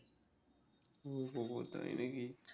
ও বাবাঃ তাই নাকি